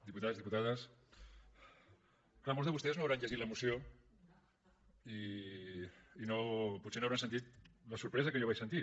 diputats diputades clar molts de vostès no deuen haver llegit la moció i potser no hauran sentit la sorpresa que jo vaig sentir